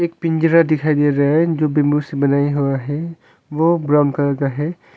एक पिंजरा दिखाई दे रहा है जो बिम्बु से बनाया हुआ है वो ब्राउन कलर का है।